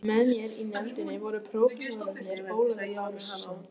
Með mér í nefndinni voru prófessorarnir Ólafur Lárusson